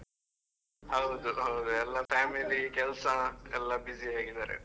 ಹೌದು ಹೌದು ಎಲ್ಲ family , ಕೆಲ್ಸ ಎಲ್ಲ busy ಆಗಿದಾರೆ.